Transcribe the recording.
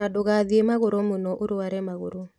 Na ndũgathiĩ magũrũ mũno ũrware magũrũ